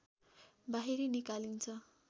बाहिर निकालिन्छ